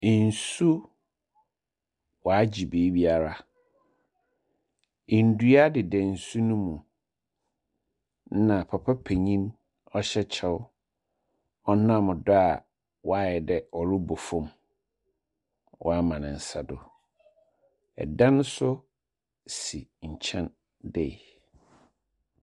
Nsuo waagye beebiara. Ndua deda nsu no mu. Na papa penyin ɔhyɛ kyɛw ɔnam do a waadɛ ɔrobɔ fam waama ne nsa do. Dan nso si nkyɛn dei.